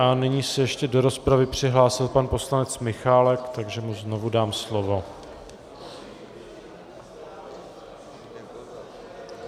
A nyní se ještě do rozpravy přihlásil pan poslanec Michálek, takže mu znovu dám slovo.